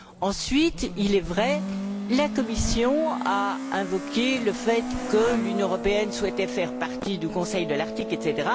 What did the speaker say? Ensuite, il est vrai, la Commission a invoqué le fait que l'Union européenne souhaitait faire partie du Conseil de l'Arctique, etc.